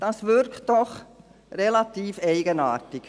Dies wirkt relativ eigenartig.